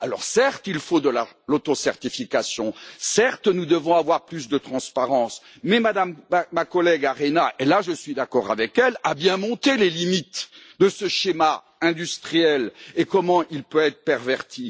Certes, il faut de l'auto certification, certes nous devons avoir plus de transparence mais ma collègue Maria Arena et là je suis d'accord avec elle a bien montré les limites de ce schéma industriel et comment il peut être perverti.